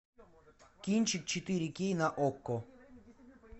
кинчик четыре кей на окко